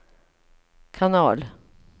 kanal